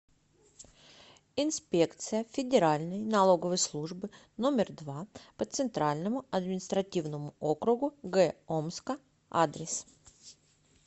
инспекция федеральной налоговой службы номер два по центральному административному округу г омска адрес